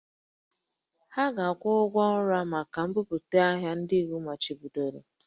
Ha ga-akwụ ụgwọ nra maka mbubata ahịa ndị iwu machibidoro